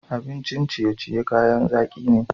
Abincin ciye-ciye kayan zaki ne.